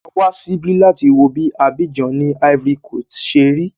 Awá síbí láti wo bí Abidjan ni Ivory coast ṣe rí.